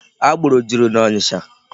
Agboro juru n'Ọnịcha.